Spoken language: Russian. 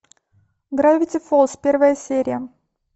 гравити фолз первая серия